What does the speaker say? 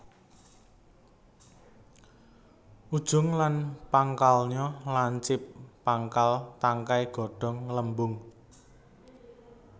Ujung lan pangkalnya lancip pangkal tangkai godhong nggelembung